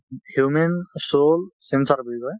human soul sensor বুলি কয়।